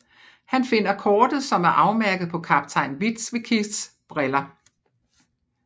Han finder kortet som er afmærket på Kaptajn Witwickys briller